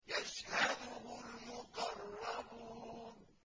يَشْهَدُهُ الْمُقَرَّبُونَ